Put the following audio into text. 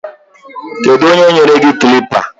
Keduonye nyere gi klịppa?